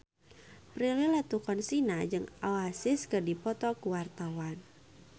Prilly Latuconsina jeung Oasis keur dipoto ku wartawan